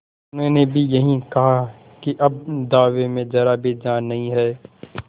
उन्होंने भी यही कहा कि अब दावे में जरा भी जान नहीं है